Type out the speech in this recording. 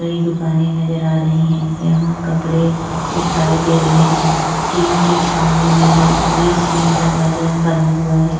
कई दुकानें नजर आ रही हैं। यहाँ कपड़े दिखाई दे रहे हैं। टीन की छावनी भी है। बीच में दरवाजा बना हुआ है।